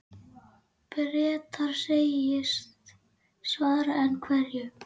Bretar segjast svara, en hverju?